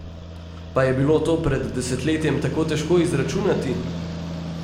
Pa je bilo to pred desetletjem tako težko izračunati?